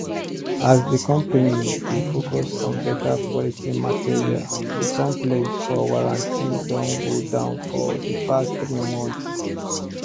as the company dey focus on beta quality materialthe complaint for warranty don go down for the past three months